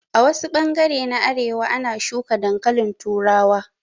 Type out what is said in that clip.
A wasu bangare na arewa a na shuka dankalin turawa